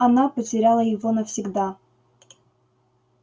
она потеряла его навсегда